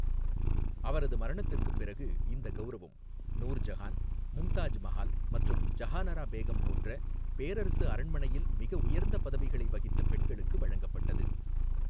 அவரது மரணத்திற்குப் பிறகு, இந்த கவுரவம் நூர்ஜஹான், மும்தாஜ் மஹால் மற்றும் ஜஹானாரா பேகம் போன்ற பேரரசு அரண்மனையில் மிக உயர்ந்த பதவிகளை வகித்த பெண்களுக்கு வழங்கப்பட்டது.